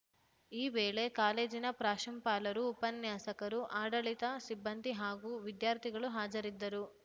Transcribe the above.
ಈ ವೇಳೆ ಕಾಲೇಜಿನ ಪ್ರಾಶುಪಾಲರು ಉಪನ್ಯಾಸಕರು ಆಡಳಿತ ಸಿಬ್ಬಂದಿ ಹಾಗೂ ವಿದ್ಯಾರ್ಥಿಗಳು ಹಾಜರಿದ್ದರು